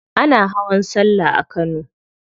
Ana hawan sallah a kano.